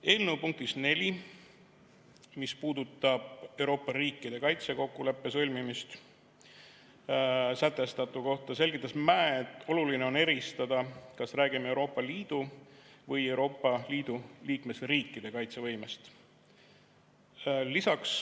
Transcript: Eelnõu punktis 4, mis puudutab Euroopa riikide kaitsekokkuleppe sõlmimist, sätestatu kohta selgitas Mäe, et oluline on eristada, kas räägime Euroopa Liidu või Euroopa Liidu liikmesriikide kaitsevõimest.